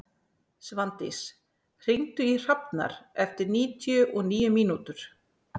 Svandís, hringdu í Hrafnar eftir níutíu og níu mínútur.